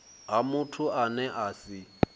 ha muthu ane a si